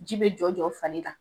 Ji bɛ jɔ jɔ fari kan.